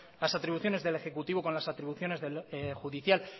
las atribuciones del ejecutivo con las atribuciones judicial